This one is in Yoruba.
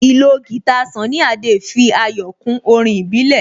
Ìlò guitar Sunny Adé fi ayọ̀ kún orin ìbílẹ̀